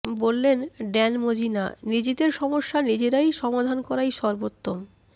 বললেন Dan Mozena নিজেদের সমস্যা নিজেরা সমাধান করাই সর্বোত্তম